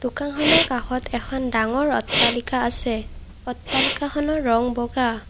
দোকানখনৰ কাষত এখন ডাঙৰ অট্টালিকা আছে অট্টালিকাখনৰ ৰং বগা।